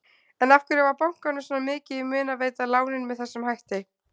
En af hverju var bankanum svona mikið í mun að veita lánin með þessum hætti?